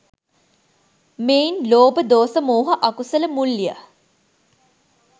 මෙයින් ලෝභ, දෝස, මෝහ අකුසල මුල් ය.